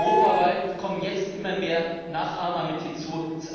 Europaweit kommen jetzt immer mehr Nachahmer mit hinzu.